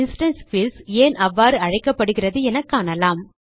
instance fields ஏன் அவ்வாறு அழைக்கப்படுகிறது என காணலாம்